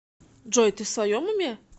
джой ты в своем уме